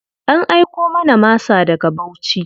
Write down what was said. An aiko mana masa daga Bauchi.